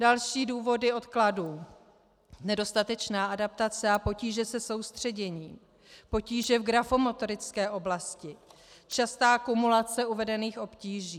Další důvody odkladů: nedostatečná adaptace a potíže se soustředěním, potíže v grafomotorické oblasti, častá kumulace uvedených obtíží.